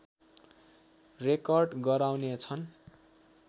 record गराउनेछन्